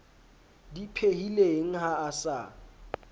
di phehileng ha a sa